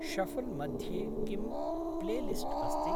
Shuffle मध्ये किं playlist अस्ति।